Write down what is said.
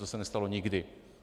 To se nestalo nikdy.